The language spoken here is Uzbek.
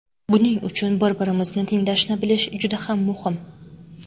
Buning uchun bir-birimizni tinglashni bilish juda ham muhim.